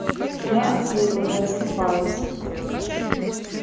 я от своего не отступаюсь